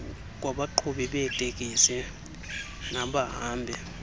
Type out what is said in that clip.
kwabaqhubi beetekisi nabahambi